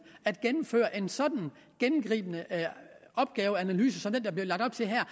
at gennemføre en så gennemgribende opgaveanalyse som den der bliver lagt op til her